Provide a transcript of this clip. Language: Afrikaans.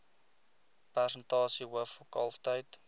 persentasie hoof kalftyd